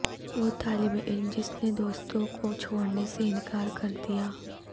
وہ طالب علم جس نے دوستوں کو چھوڑنے سے انکار کر دیا